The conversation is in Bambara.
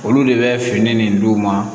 Olu de bɛ fini nin d'u ma